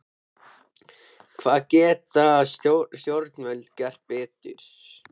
Hvað geta stjórnvöld gert betur?